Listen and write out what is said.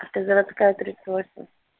автозаводская тридцать восемь